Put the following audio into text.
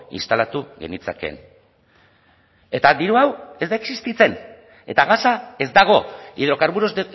instalatu genitzakeen eta diru hau ez da existitzen eta gasa ez dago hidrocarburos